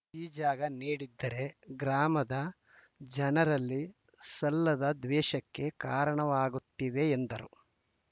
ಈ ಜಾಗ ನೀಡಿದ್ದರೆ ಗ್ರಾಮದ ಜನರಲ್ಲಿ ಸಲ್ಲದ ದ್ವೇಷಕ್ಕೆ ಕಾರಣವಾಗುತ್ತಿದೆ ಎಂದರು